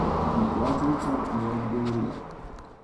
In prijateljica mi je odgovorila.